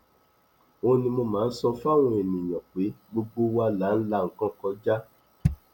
ó ní mo máa ń sọ fáwọn èèyàn pé gbogbo wa là ń la nǹkan kọjá